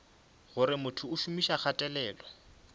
gore motho o šomiša kgatelelo